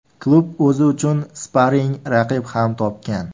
Klub o‘zi uchun sparing raqib ham topgan.